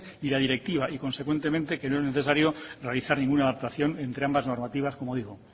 y la directiva y consecuentemente que no es necesario realizar ninguna adaptación entre ambas normativas como digo